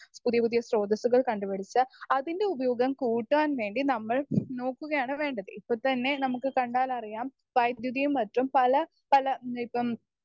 Speaker 1 പുതിയ പുതിയ സ്രോതസ്സുകൾ കണ്ടുപിടിച്ച് അതിൻ്റെ ഉപയോഗം കൂട്ടാൻ വേണ്ടി നമ്മൾ നോക്കുകയാണ് വേണ്ടത്. ഇപ്പൊ തന്നെ നമുക്ക് കണ്ടാലറിയാം വൈദ്യുതിയും മറ്റും പല പല ഇപ്പം